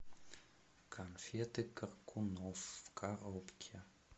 конфеты коркунов в коробке